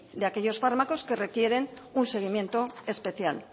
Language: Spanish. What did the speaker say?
de aquellos fármacos que requieren un seguimiento especial